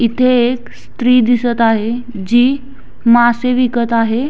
इथे एक स्त्री दिसत आहे जी मासे विकत आहे.